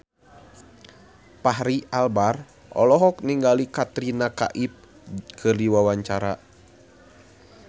Fachri Albar olohok ningali Katrina Kaif keur diwawancara